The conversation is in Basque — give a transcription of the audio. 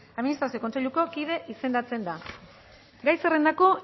administrazio kontseiluko kide izendatzen da gai zerrendako